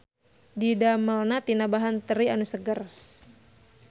Didamelna tina bahan teri anu seger.